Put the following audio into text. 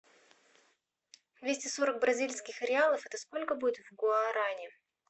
двести сорок бразильских реалов это сколько будет в гуарани